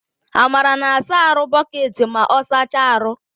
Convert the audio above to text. Amara na-asa arụ bụcketị ma ọ saachaa arụ